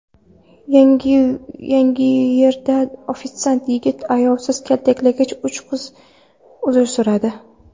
Yangiyerda ofitsiant yigitni ayovsiz kaltaklagan uch kishi uzr so‘radi.